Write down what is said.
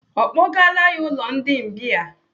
Ọ kpọgaala ya ụlọ ndi mbìa?